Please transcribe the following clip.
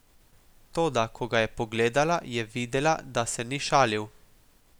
Toda ko ga je pogledala, je videla, da se ni šalil.